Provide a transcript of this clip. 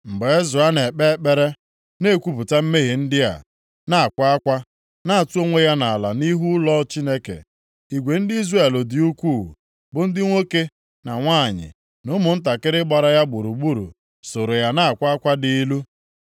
Mgbe Ezra na-ekpe ekpere, na-ekwupụta mmehie ndị a, na-akwa akwa, na-atụ onwe ya nʼala nʼihu ụlọ Chineke, igwe ndị Izrel dị ukwuu, bụ ndị nwoke, na nwanyị, na ụmụntakịrị gbara ya gburugburu soro ya na-akwa akwa dị ilu.